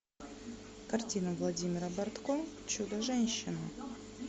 картина владимира бортко чудо женщина